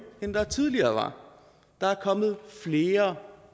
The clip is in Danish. end der var tidligere der er kommet flere